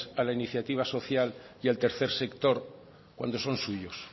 a la iniciativa social y al tercer sector cuando son suyos